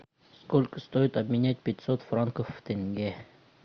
сколько стоит обменять пятьсот франков в тенге